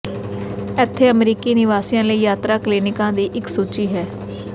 ਇੱਥੇ ਅਮਰੀਕੀ ਨਿਵਾਸੀਆਂ ਲਈ ਯਾਤਰਾ ਕਲੀਨਿਕਾਂ ਦੀ ਇੱਕ ਸੂਚੀ ਹੈ